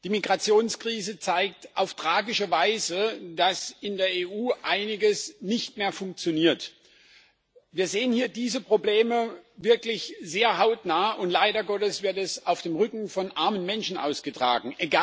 Die Migrationskrise zeigt auf tragische Weise, dass in der EU einiges nicht mehr funktioniert. Wir sehen hier diese Probleme wirklich hautnah, und leider Gottes wird es auf dem Rücken von armen Menschen ausgetragen.